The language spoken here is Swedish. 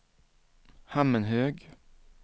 Hammenhög